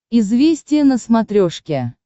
известия на смотрешке